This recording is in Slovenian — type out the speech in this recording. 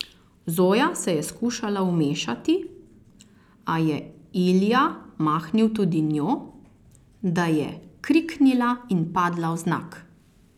Zoja se je skušala vmešati, a je Ilija mahnil tudi njo, da je kriknila in padla vznak.